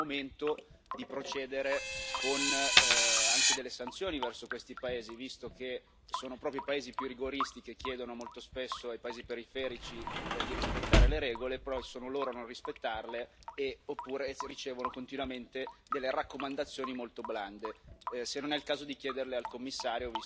Volevo chiedergli, appunto, se non crede che sia arrivato il momento di procedere anche con delle sanzioni verso questi paesi, visto che sono proprio i paesi più rigoristi che chiedono molto spesso ai paesi periferici di rispettare le regole e poi solo loro i primi a non rispettarle, oppure ricevono continuamente raccomandazioni molto blande.